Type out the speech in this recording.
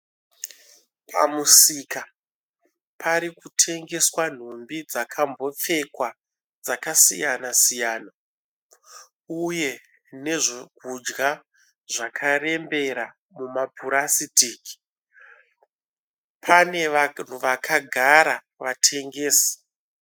Pamusika parikutengeswa nhumbi dzakambopfekwa dzakasiyana siyana uye nezvokudya zvakarembera mumapurasitiki. Pane vakagara vatengesi.